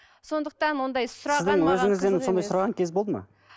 сондықтан ондай сұраған сіздің өзіңізден сондай сұраған кез болды ма